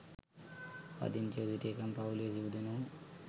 පදිංචිව සිටි එකම පවුලේ සිව් දෙනකු